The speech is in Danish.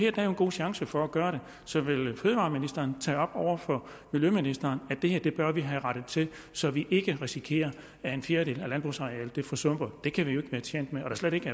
er der jo en god chance for at gøre det så vil fødevareministeren tage op over for miljøministeren at det her bør vi have rettet til så vi ikke risikerer at en fjerdedel af landbrugsarealet forsumper det kan vi jo ikke være tjent med